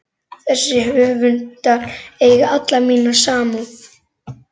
Þessir höfundar eiga alla mína samúð.